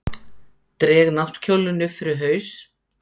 Dreg náttkjólinn upp yfir haus.